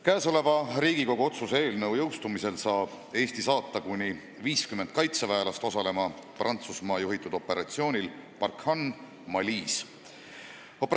Käesoleva Riigikogu otsuse jõustumisel saab Eesti saata kuni 50 tegevväelast osalema Prantsusmaa juhitaval operatsioonil Barkhane Malis.